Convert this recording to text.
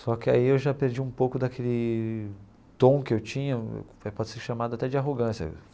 Só que aí eu já perdi um pouco daquele tom que eu tinha, que pode ser chamado até de arrogância.